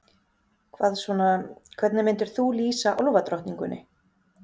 Hvað svona, hvernig myndir þú lýsa álfadrottningunni?